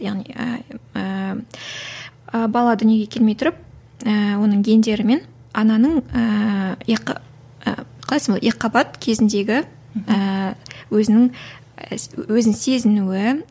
яғни ііі бала дүниеге келмей тұрып ыыы оның гендерімен ананың ыыы қалай солай екіқабат кезіндегі ііі өзінің өзін сезінуі